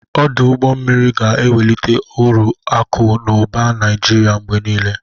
Ọdụ ụgbọ mmiri ga-ewelite ọrụ akụ na ụba na Naịjiria mgbe niile.